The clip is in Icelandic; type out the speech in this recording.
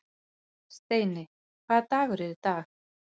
Steini, hvaða dagur er í dag?